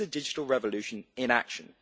This is a digital revolution in action.